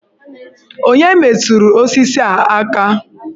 Onye metụrụ osisi a aka?